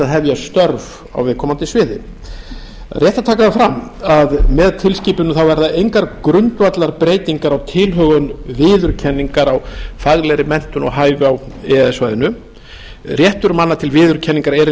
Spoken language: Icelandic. hefja störf á viðkomandi sviði það er rétt að taka það fram að með tilskipuninni þá verða engar grundvallarbreytingar á tilhögun viðurkenningar á faglegri menntun og hæfi á e e s svæðinu réttur manna til viðurkenningar er hinn sami